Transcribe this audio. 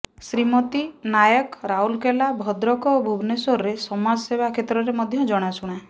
ଶ୍ରୀମତୀ ନାୟକ ରାଉରକେଲା ଭଦ୍ରକ ଓ ଭୁବନେଶ୍ବରରେ ସମାଜସେବା କ୍ଷେତ୍ରରେ ମଧ୍ୟ ଜଣାଶୁଣା